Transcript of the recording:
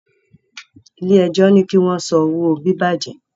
ilé ẹjọ ní kí wón son owo bibajẹ